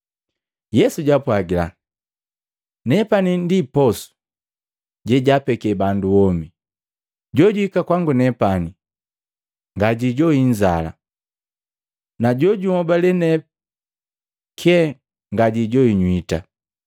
Yesu jaapwagila, “Nepani ndi posu jejapeke bandu womi. Jojuhika kwangu nepani ngajijoi inzala, najojunhobale ne kyee ngajijoi nywita.